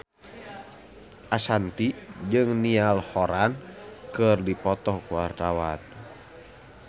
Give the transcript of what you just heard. Ashanti jeung Niall Horran keur dipoto ku wartawan